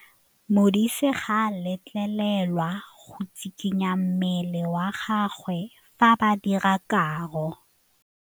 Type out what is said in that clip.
Modise ga a letlelelwa go tshikinya mmele wa gagwe fa ba dira karô.